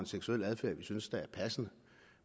seksuel adfærd vi synes er passende